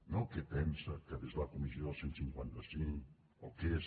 no què pensa de la comissió del cent i cinquanta cinc o què és